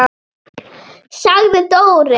sagði Dóri.